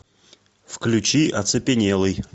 включи оцепенелый